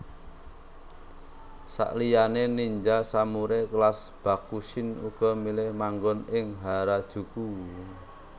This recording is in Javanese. Saliyané ninja samurai kelas Bakushin uga milih manggon ing Harajuku